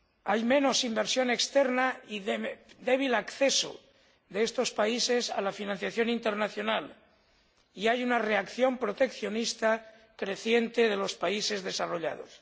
Hay menos inversión externa y débil acceso de estos países a la financiación internacional, y se constata una reacción proteccionista creciente de los países desarrollados.